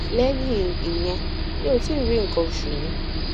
lẹyìn ìyẹn mi ò tíì rí nkan osu mi